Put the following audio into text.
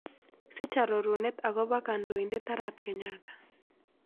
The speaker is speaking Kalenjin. Siich arorunet agoboo kandoiindet arap kenyatta